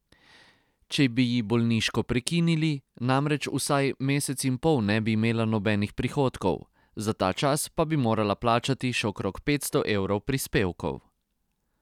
Če bi ji bolniško prekinili, namreč vsaj mesec in pol ne bi imela nobenih prihodkov, za ta čas pa bi morala plačati še okrog petsto evrov prispevkov.